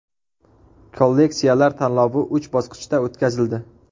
Kolleksiyalar tanlovi uch bosqichda o‘tkazildi.